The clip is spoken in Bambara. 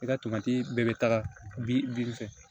I ka tomati bɛɛ bɛ taga fɛ